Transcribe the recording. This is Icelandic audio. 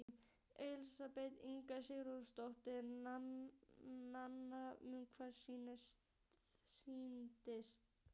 Elísabet Inga Sigurðardóttir: Nanna, um hvað snýst sýningin?